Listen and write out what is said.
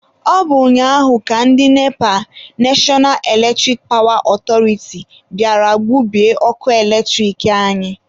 Ọ bụ ụnyaahụ ka ndị NEPA(National Eletric Power Authority) bịara gbubie ọkụ eletrik anyị.